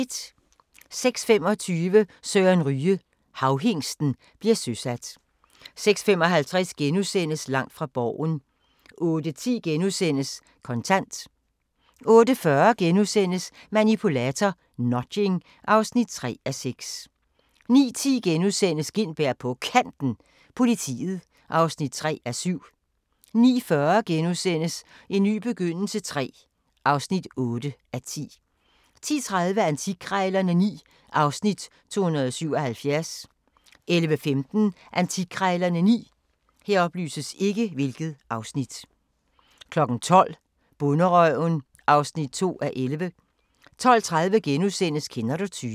06:25: Søren Ryge – Havhingsten bliver søsat 06:55: Langt fra Borgen * 08:10: Kontant * 08:40: Manipulator – Nudging (3:6)* 09:10: Gintberg på Kanten – Politiet (3:7)* 09:40: En ny begyndelse III (8:10)* 10:30: Antikkrejlerne XI (Afs. 277) 11:15: Antikkrejlerne XI 12:00: Bonderøven (2:11) 12:30: Kender du typen? *